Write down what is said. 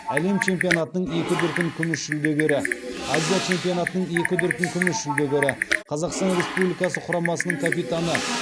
әлем чемпионатының екі дүркін күміс жүлдегері азия чемпионатының екі дүркін күміс жүлдегері қазақстан республикасы құрамасының капитаны